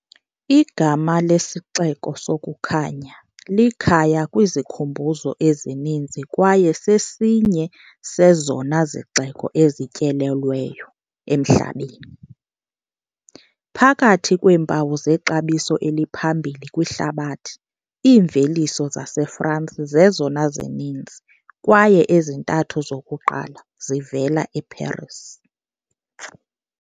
Igama lesiXeko sokuKhanya, likhaya kwizikhumbuzo ezininzi kwaye sesinye sezona zixeko ezityelelweyo emhlabeni. Phakathi kweempawu zexabiso eliphambili kwihlabathi, iimveliso zaseFrance zezona zininzi kwaye ezintathu zokuqala zivela eParis.